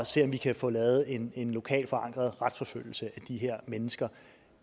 se om vi kan få lavet en lokalt forankret retsforfølgelse af de her mennesker